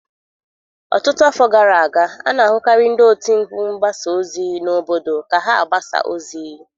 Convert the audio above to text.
Ọtụtụ afọ gara aga, a na-ahụkarị ndị oti mkpu mgbasa ozi n'obodo ka ha agbasa ozi.